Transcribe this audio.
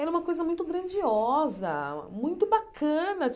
Era uma coisa muito grandiosa, muito bacana.